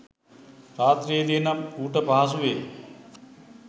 රාත්‍රියේදී නම් ඌට පහසුවෙ